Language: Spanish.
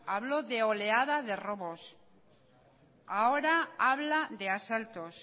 habló de oleada de robos ahora habla de asaltos